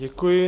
Děkuji.